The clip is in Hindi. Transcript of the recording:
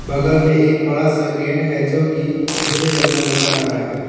बगल में एक बड़ा सा गेट है जो कि भूरे रंग का नजर आ रहा है।